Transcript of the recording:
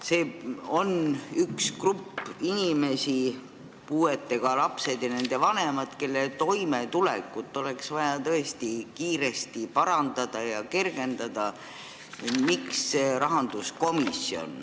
See on üks grupp inimesi, puudega lapsed ja nende vanemad, kelle toimetulekut oleks vaja tõesti kiiresti parandada ja nende elu kergendada.